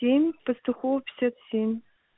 семь пастухова пятьдесят семь